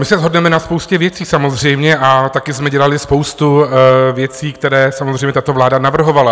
My se shodneme na spoustě věcí samozřejmě a taky jsme dělali spoustu věcí, které samozřejmě tato vláda navrhovala.